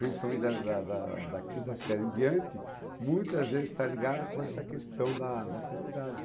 principalmente da da da da quinta série em diante, muitas vezes está ligada com essa questão da da aprendizagem.